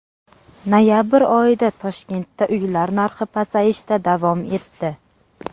Noyabr oyida Toshkentda uylar narxi pasayishda davom etdi.